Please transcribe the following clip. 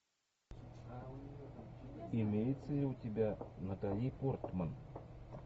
имеется ли у тебя натали портман